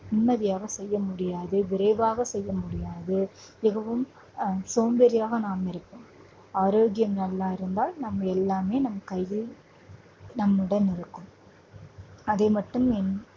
நிம்மதியாக செய்ய முடியாது. விரைவாக செய்ய முடியாது. மிகவும் ஆஹ் சோம்பேறியாக நாம் இருப்போம். ஆரோக்கியம் நல்லா இருந்தால் நம்ம எல்லாமே நம் கையில் நம்முடன் இருக்கும். அதை மட்டும் என்~